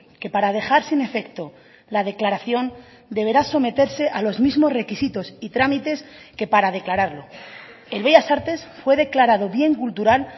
que para dejar sin efecto la declaración deberá someterse a los mismos requisitos y trámites que para declararlo el bellas artes fue declarado bien cultural